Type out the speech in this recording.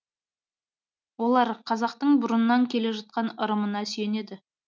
олар қазақтың бұрыннан келе жатқан ырымына сүйенеді